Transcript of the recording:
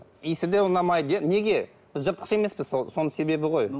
иісі де ұнамайды иә неге біз жыртқыш емеспіз соның себебі ғой